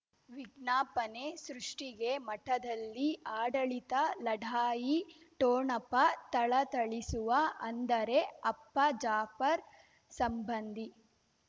ವಿಜ್ಞಾಪನೆ ಸೃಷ್ಟಿಗೆ ಮಠದಲ್ಲಿ ಆಡಳಿತ ಲಢಾಯಿ ಠೋಣಪ ಥಳಥಳಿಸುವ ಅಂದರೆ ಅಪ್ಪ ಜಾಫರ್ ಸಂಬಂಧಿ